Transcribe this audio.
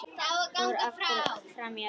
Fór aftur fram í eldhús.